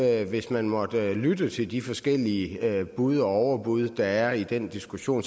er hvis man måtte lytte til de forskellige bud og overbud der er i den diskussion